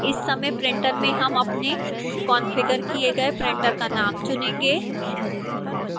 इस समय printer में हम अपने कॉन्फ़िगर किए गए printer का name चुनेंगे